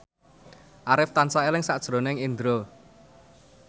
Arif tansah eling sakjroning Indro